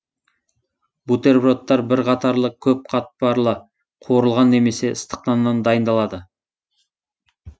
бутербродтар бір қатарлы көп қатпарлы қуырылған немесе ыстық наннан дайындалады